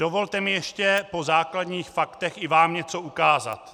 Dovolte mi ještě po základních faktech i vám něco ukázat.